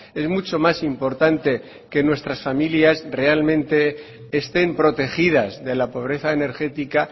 es mucho más importante que nuestras familias realmente estén protegidas de la pobreza energética